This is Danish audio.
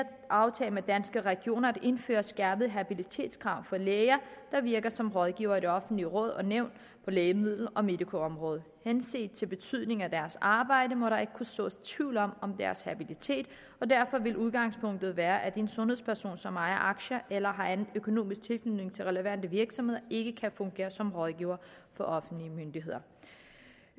aftale med danske regioner indfører skærpede habilitetskrav for læger der virker som rådgivere i offentlige råd og nævn på lægemiddel og medicoområdet henset til betydningen af deres arbejde må der ikke kunne sås tvivl om om deres habilitet og derfor vil udgangspunktet være at en sundhedsperson som ejer aktier eller har anden økonomisk tilknytning til relevante virksomheder ikke kan fungere som rådgiver for offentlige myndigheder